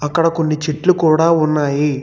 ఇక్కడ కొన్ని చెట్లు కుడా ఉన్నాయి.